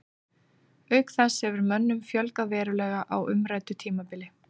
Auk þess hefur mönnum fjölgað verulega á umræddu tímabili.